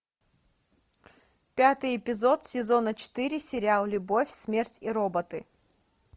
пятый эпизод сезона четыре сериал любовь смерть и роботы